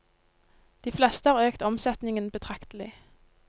De fleste har økt omsetningen betraktelig.